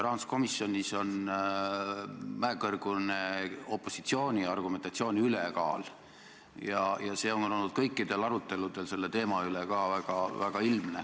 Rahanduskomisjonis on mäekõrgune opositsiooni argumentatsiooni ülekaal ja see on olnud kõikidel aruteludel selle teema puhul väga ilmne.